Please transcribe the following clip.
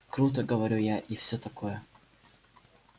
круто говорю я и всё такое